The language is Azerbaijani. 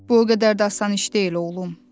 Bu o qədər də asan iş deyil oğlum.